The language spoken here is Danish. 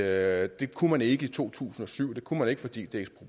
at det kunne man ikke i to tusind og syv og det kunne man ikke fordi det